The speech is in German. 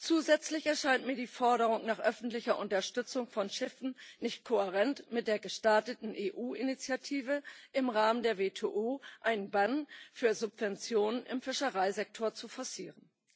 Zusätzlich erscheint mir die Forderung nach öffentlicher Unterstützung von Schiffen nicht kohärent mit der gestarteten EU Initiative im Rahmen der WTO, einen Bann für Subventionen im Fischereisektor zu forcieren.